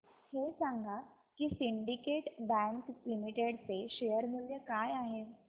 हे सांगा की सिंडीकेट बँक लिमिटेड चे शेअर मूल्य काय आहे